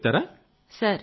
గురించి చెబుతారా